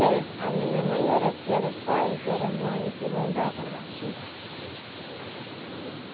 É. A minha mãe era que era o pai, que era a mãe, que mandava lá tudo.